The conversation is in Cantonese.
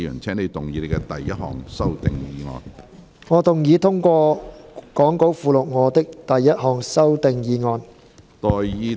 主席，我動議通過講稿附錄我的第一項修訂議案。